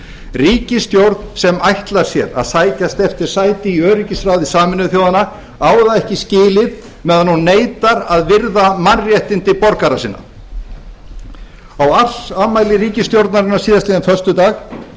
ríkisstjórn sem ætlar sér að sækjast eftir sæti í öryggisráði sameinuðu þjóðanna á það ekki skilið meðan hún neitar að virða mannréttindi borgara sinna á ársafmæli ríkisstjórnarinnar síðastliðinn föstudag